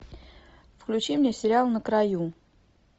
включи мне сериал на краю